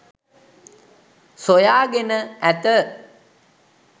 සොයාගෙන ඇත.